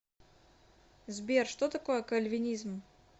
сбер что такое кальвинизм